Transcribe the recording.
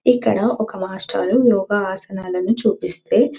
ఇక్కడ ఒక మాస్టారు యోగా ఆసనాలని చూపిస్తే--